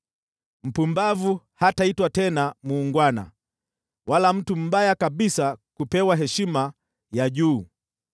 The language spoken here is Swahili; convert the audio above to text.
Mpumbavu hataitwa tena muungwana, wala mtu mbaya kabisa kupewa heshima ya juu.